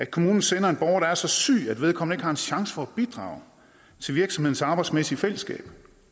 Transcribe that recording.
kommunen sender en borger der er så syg at vedkommende ikke har en chance for at bidrage til virksomhedens arbejdsmæssige fællesskab